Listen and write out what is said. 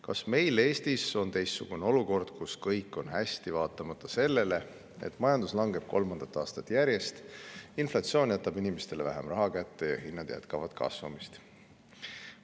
Kas meil Eestis on teistsugune olukord, kus kõik on hästi vaatamata sellele, et majandus langeb kolmandat aastat järjest, inflatsioon jätab inimestele vähem raha kätte ja hinnad jätkavad kasvamist?